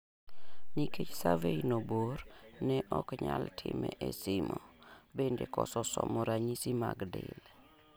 Nikech survey no bor, ne oknyal time e simu bende koso somo ranyisi mag del